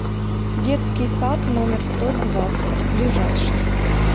детский сад номер сто двадцать ближайший